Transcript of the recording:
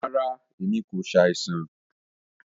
Ràrá, ẹ̀mi kò ṣàìsàn.